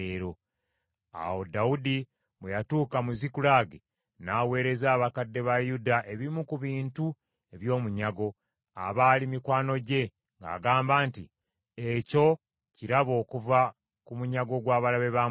Awo Dawudi bwe yatuuka mu Zikulagi, n’aweereza abakadde ba Yuda ebimu ku bintu eby’omunyago, abaali mikwano gye, ng’agamba nti, “Ekyo kirabo okuva ku munyago gw’abalabe ba Mukama .”